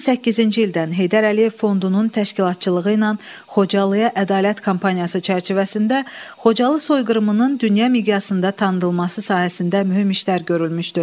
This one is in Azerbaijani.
2008-ci ildən Heydər Əliyev Fondunun təşkilatçılığı ilə Xocalıya ədalət kampaniyası çərçivəsində Xocalı soyqırımının dünya miqyasında tanınması sahəsində mühüm işlər görülmüşdü.